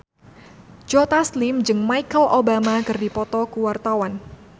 Joe Taslim jeung Michelle Obama keur dipoto ku wartawan